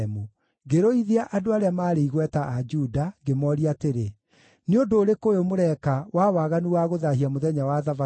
Ngĩrũithia andũ arĩa maarĩ igweta a Juda, ngĩmooria atĩrĩ, “Nĩ ũndũ ũrĩkũ ũyũ mũreka wa waganu wa gũthaahia mũthenya wa Thabatũ?